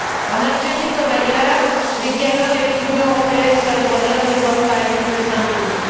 En Algérie comme ailleurs, le dialogue avec l'Union européenne sur les droits de l'homme ne doit pas être un simple mot.